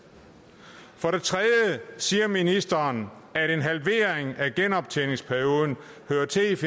for det tredje siger ministeren at en halvering af genoptjeningsperioden hører til